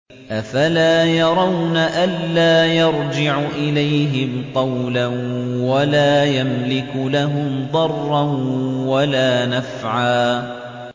أَفَلَا يَرَوْنَ أَلَّا يَرْجِعُ إِلَيْهِمْ قَوْلًا وَلَا يَمْلِكُ لَهُمْ ضَرًّا وَلَا نَفْعًا